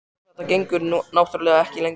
Sko. þetta gengur náttúrlega ekki lengur.